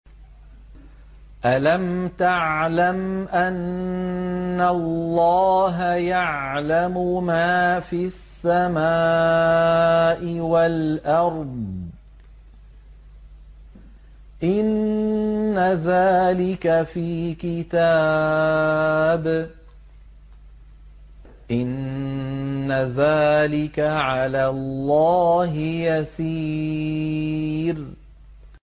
أَلَمْ تَعْلَمْ أَنَّ اللَّهَ يَعْلَمُ مَا فِي السَّمَاءِ وَالْأَرْضِ ۗ إِنَّ ذَٰلِكَ فِي كِتَابٍ ۚ إِنَّ ذَٰلِكَ عَلَى اللَّهِ يَسِيرٌ